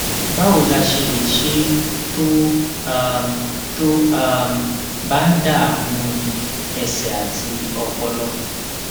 báwo la ṣe lè ṣe é tó um tó um bá ń dààmú ẹsè àti ọpọlọ